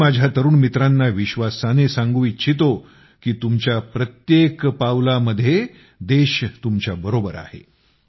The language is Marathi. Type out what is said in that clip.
मी माझ्या तरुण मित्रांना विश्वासाने सांगू इच्छितो की तुमच्या प्रत्येक पाऊलामध्ये देश तुमच्या साथीला आहे